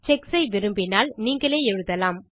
sex ஐ விரும்பினால் நீங்களே எழுதலாம்